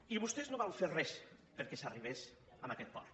i vostès no van fer res perquè s’arribés a aquest port